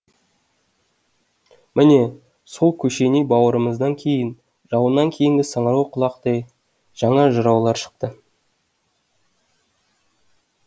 міне сол көшеней бауырымыздан кейін жауыннан кейінгі саңырауқұлақтай жаңа жыраулар шықты